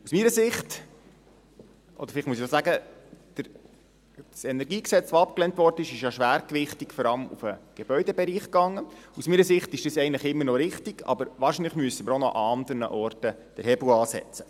Aus meiner Sicht – oder vielleicht muss ich auch sagen, das KEnG, das ablehnt wurde, war ja schwergewichtig auf den Gebäudebereich ausgerichtet – ist das eigentlich immer noch richtig, aber wahrscheinlich müssen wir auch noch an anderen Orten den Hebel ansetzen.